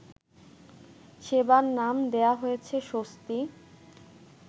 সেবার নাম দেয়া হয়েছে স্বস্তি